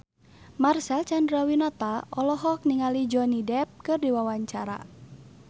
Marcel Chandrawinata olohok ningali Johnny Depp keur diwawancara